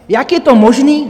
Jak je to možné?